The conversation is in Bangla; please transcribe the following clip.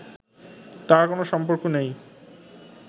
তার কোনো সম্পর্ক নেই